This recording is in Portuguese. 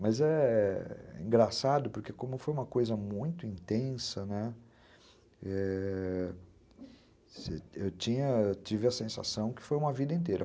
Mas é engraçado porque como foi uma coisa muito intensa, né, eu tive tive a sensação que foi uma vida inteira.